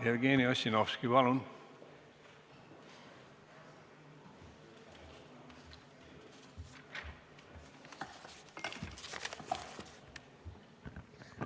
Jevgeni Ossinovski, palun!